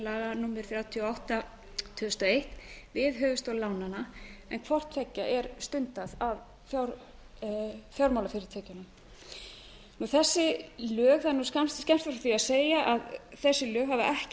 númer þrjátíu og átta tvö þúsund og eitt við höfuðstól lánanna en hvort tveggja er stundað af fjármálafyrirtækjunum það er skemmst frá því að segja að þessi lög hafa ekki